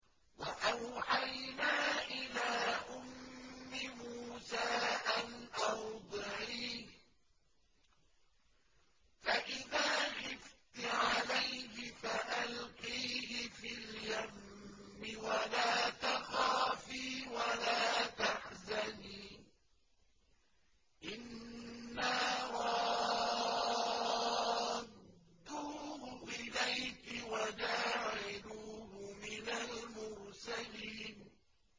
وَأَوْحَيْنَا إِلَىٰ أُمِّ مُوسَىٰ أَنْ أَرْضِعِيهِ ۖ فَإِذَا خِفْتِ عَلَيْهِ فَأَلْقِيهِ فِي الْيَمِّ وَلَا تَخَافِي وَلَا تَحْزَنِي ۖ إِنَّا رَادُّوهُ إِلَيْكِ وَجَاعِلُوهُ مِنَ الْمُرْسَلِينَ